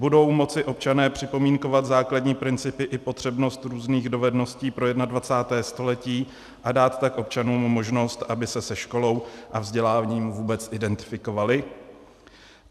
Budou moci občané připomínkovat základní principy i potřebnost různých dovedností pro 21. století a dát tak občanům možnost, aby se se školou a vzděláním vůbec identifikovali?